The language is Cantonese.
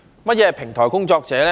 何謂平台工作者呢？